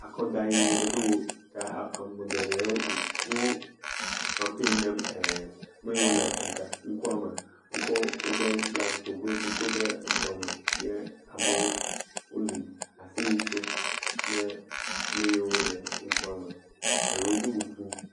Akɔdayi ɖo ta ame geɖewo wo kampani nɛ ee me yiwo le e ŋka ŋkua me wokɔ woƒe flaga si go do kɔ de ŋkua me ye amewo woli, aseye tsom ne ame yiwo le ŋkua me. Eɖewo do kuku.